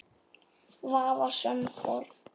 Vafasöm fórn.